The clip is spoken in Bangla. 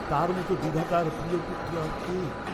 তার মত বিধাতার প্রিয়পুত্র আর কে?